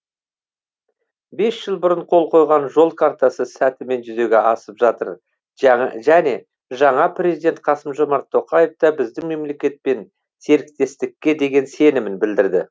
бес жыл бұрын қол қойған жол картасы сәтімен жүзеге асып жатыр және жаңа президент қасым жомарт тоқаев та біздің мемлекетпен серіктестікке деген сенімін білдірді